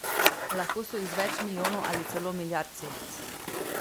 Lahko so iz več milijonov ali celo milijard celic.